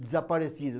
Desaparecido.